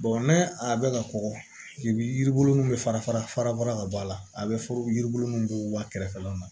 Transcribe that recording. n'a bɛ ka kɔgɔ yiri min bɛ fara fara fara fara ka bɔ a la a bɛ fɔ yiri bolo mun b'o wa kɛrɛfɛlaw la